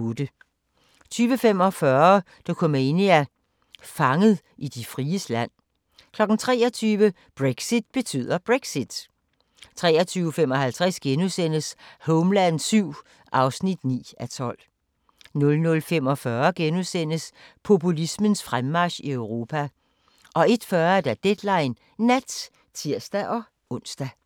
20:45: Dokumania: Fanget i de fries land 23:00: Brexit betyder Brexit 23:55: Homeland VII (9:12)* 00:45: Populismens fremmarch i Europa * 01:40: Deadline Nat (tir-ons)